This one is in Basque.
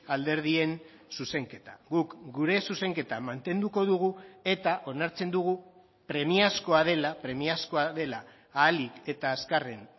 alderdien zuzenketa guk gure zuzenketa mantenduko dugu eta onartzen dugu premiazkoa dela premiazkoa dela ahalik eta azkarren